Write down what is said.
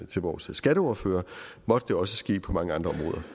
til vores skatteordfører måtte det også ske på mange andre